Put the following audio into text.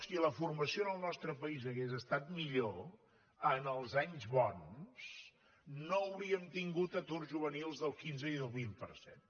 si la formació en el nostre país hagués estat millor els anys bons no hauríem tingut aturs juvenils del quinze i el vint per cent